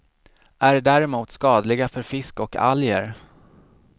Är däremot skadliga för fisk och alger.